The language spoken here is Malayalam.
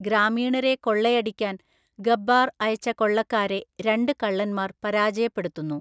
ഗ്രാമീണരെ കൊള്ളയടിക്കാൻ ഗബ്ബാർ അയച്ച കൊള്ളക്കാരെ രണ്ട് കള്ളന്മാർ പരാജയപ്പെടുത്തുന്നു.